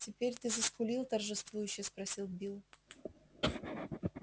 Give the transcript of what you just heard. теперь ты заскулил торжествующе спросил билл